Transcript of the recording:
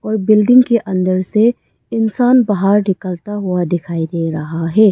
और बिल्डिंग के अंदर से इंसान बाहर निकलता हुआ दिखाई दे रहा है।